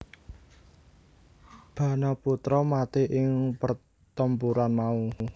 Banaputra mati ing pertempuran mau